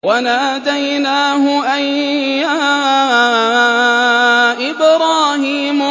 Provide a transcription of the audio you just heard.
وَنَادَيْنَاهُ أَن يَا إِبْرَاهِيمُ